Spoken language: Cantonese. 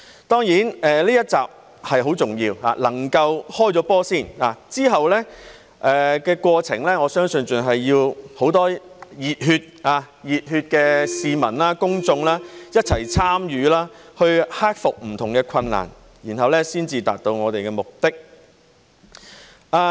當然，這一集是很重要的，能夠先"開波"，之後的過程，我相信還是要很多熱血的市民、公眾一齊參與，去克服不同的困難，然後才達到我們的目的。